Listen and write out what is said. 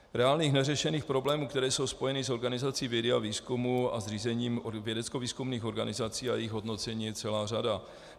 Reálných neřešených problémů, které jsou spojeny s organizací vědy a výzkumu a s řízením vědeckovýzkumných organizací a jejich hodnocení je celá řada.